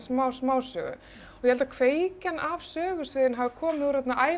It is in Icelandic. smásögu og ég held að kveikjan af sögusviðinu hafi komið